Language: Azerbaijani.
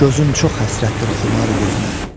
Gözüm çox həsrətdir xumar gözünə.